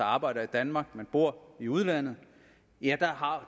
arbejder i danmark men bor i udlandet har